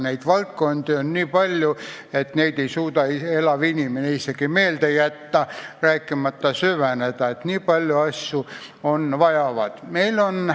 Neid valdkondi on nii palju, et neid ei suuda elav inimene isegi meelde jätta, rääkimata süvenemisest, mida vaja oleks.